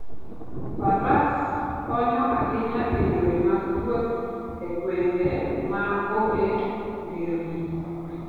Faras konyo ahinya e yore mag wuoth e gwenge ma onge nderni.